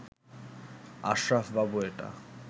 আশরাফ বাবু এটা